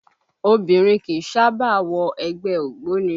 Obìnrin kìí sábà wọ ẹgbẹ́ ògbóni